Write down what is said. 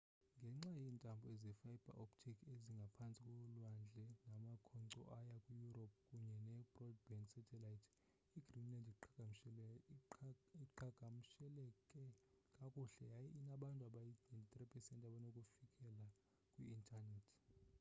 ngenxa yeentambo ze-fiber optic ezingaphantsi kolwandle namakhonkco aya kwi europe kunye ne-broadband satellite igreenland iqhagamshelekee kakuhle yaye inabantu abayi-93% abanokufikelela kwi intanethi